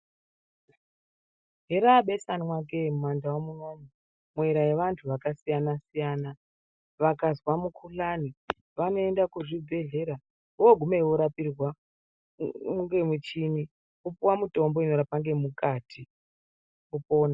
Herabesanwa ke mumandau munomu muyera yevantu vakasiyana siyana vakazwa mukuhlane vanoenda kuzvibhedhlera vogumeyo vorapirwa ngemuchini vopuwa mitombo inorapa ngemukati vopona.